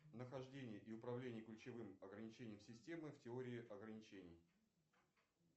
нахождение и управление ключевым ограничением системы в теории ограничений